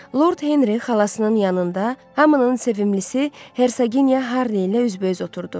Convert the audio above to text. Lord Henri xalasının yanında, hamının sevimlisinə Hersoginya Harli ilə üz-bə-üz oturdu.